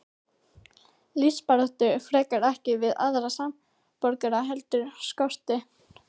Lífsbaráttu frekar, ekki við aðra samborgara heldur skortinn.